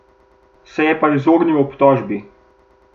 Se je pa izognil obtožbi.